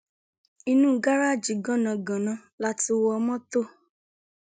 inú gáráàjì gánangànan la ti wọ mọtò